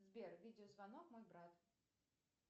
сбер видеозвонок мой брат